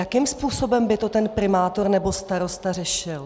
Jakým způsobem by to ten primátor nebo starosta řešil?